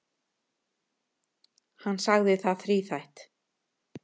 Hann sagði það þríþætt.